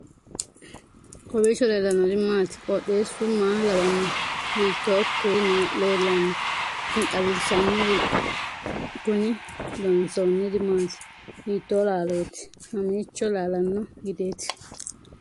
kowiicho leellannori maati ? qooxeessu maa lawaanno ? hiitoo kuuli leellanno ? tini xawissannori kuni loonsoonniri maati hiitto laalooti mamiicho laalanno gideeti